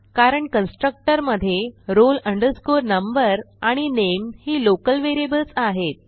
कारण कन्स्ट्रक्टर मधे roll number आणि नामे ही लोकल व्हेरिएबल्स आहेत